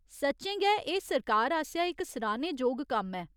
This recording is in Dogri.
सच्चें गै एह् सरकार आसेआ इक सराह्‌ने जोग कम्म ऐ।